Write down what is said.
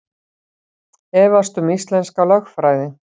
Efast um íslenska lögfræði